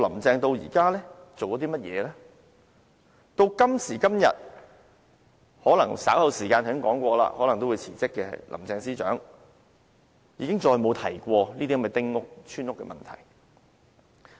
直至今時今日，可能稍後時間——我剛才說過——可能稍後辭職的林鄭司長，已經再沒有提及這些丁屋、村屋的問題。